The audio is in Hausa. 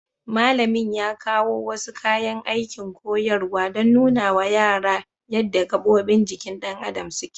Malamin ya kawo wasu kayan aikin koyarwa don nunawa yara yadda gabobin jikin ɗan adam suke.